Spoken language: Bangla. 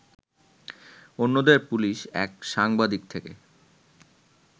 অন্যদের পুলিশ এক সাংবাদিক থেকে